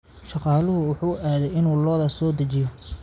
Shaqaaluhu wuxuu aaday inuu lo'da soo daajiyo